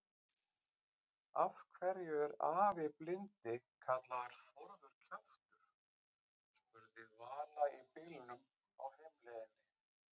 Af hverju er afi blindi kallaður Þórður kjaftur? spurði Vala í bílnum á heimleiðinni.